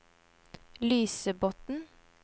Lysebotn